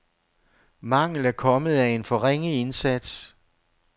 Mangel er kommet af en for ringe indsats.